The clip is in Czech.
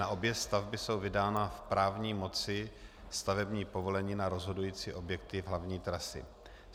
Na obě stavby jsou vydána v právní moci stavební povolení na rozhodující objekty hlavní trasy.